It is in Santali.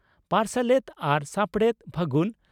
ᱯᱟᱨᱥᱟᱞᱮᱛ ᱟᱨ ᱥᱟᱯᱲᱮᱛ, ᱯᱷᱟᱹᱜᱩᱱ ᱾